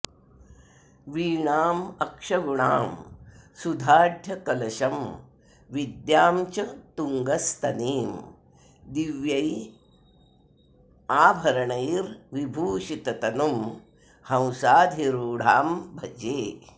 वीणामक्षगुणां सुधाढ्यकलशं विद्यां च तुङ्गस्तनीं दिव्यैराभरणैर्विभूषिततनुं हंसाधिरूढां भजे